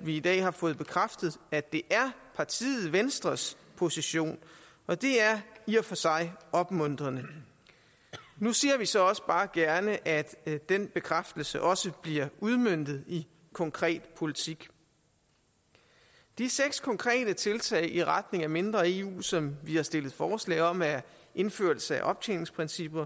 vi i dag har fået bekræftet at det er partiet venstres position og det er i og for sig opmuntrende nu ser vi så også bare gerne at den bekræftelse også bliver udmøntet i konkret politik de seks konkrete tiltag i retning af mindre eu som vi har stillet forslag om er indførelse af optjeningsprincipper